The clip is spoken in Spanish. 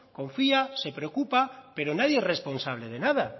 confía se preocupa pero nadie es responsable de nada